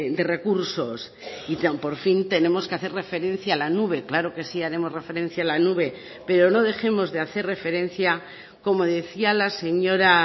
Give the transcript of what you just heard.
de recursos y por fin tenemos que hacer referencia a la nube claro que sí haremos referencia a la nube pero no dejemos de hacer referencia como decía la señora